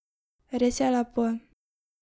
Res je lepo.